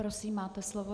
Prosím, máte slovo.